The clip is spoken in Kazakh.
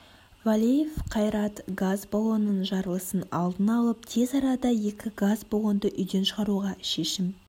валеев қайрат газ балонының жарылысын алдын алып тез арада екі газ баллонды үйден шығаруға шешім